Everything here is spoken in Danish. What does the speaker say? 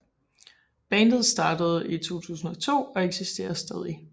Bandet startede i 2002 og eksisterer stadig